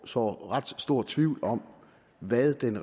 sår ret stor tvivl om hvad den